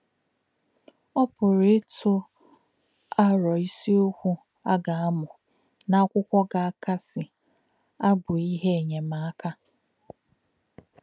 Ó̄ pụ̀rụ́ ítụ̀ àrò̄ ìsí̄ọ̀kwū̄ à gā̄-àmū̄ nā̄ àkwú̄kwó̄ gā̄-àkàsị̀ àbụ̀ íhè̄ ènyémákà̄.